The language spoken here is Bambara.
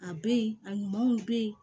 A be yen a ɲumanw be yen